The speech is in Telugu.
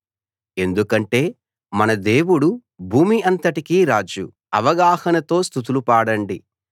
ఎందుకంటే మన దేవుడు భూమి అంతటికీ రాజు అవగాహనతో స్తుతులు పాడండి